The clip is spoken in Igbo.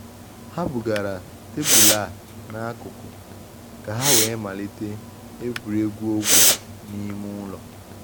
Ha bugara tebụl a n' akụkụ ka ha wee malite egwuregwu ogwe n’ime ụlọ.